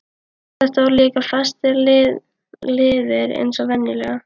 Þetta voru líka fastir liðir eins og venjulega.